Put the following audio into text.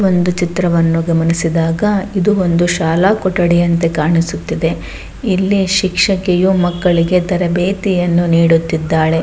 ಒಂದು ಚಿತ್ರವನ್ನು ಗಮನಿಸಿದಾಗ ಇದು ಒಂದು ಶಾಲಾ ಕೊಠಡಿಯಂತೆ ಕಾಣಿಸುತ್ತಿದೆ ಇಲ್ಲಿ ಶಿಕ್ಷಕಿಯು ಮಕ್ಕಳಿಗೆ ತರಬೇತಿಯನ್ನು ನೀಡುತ್ತಿದ್ದಾಳೆ.